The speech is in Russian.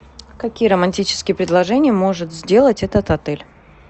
какие романтические предложения может сделать этот отель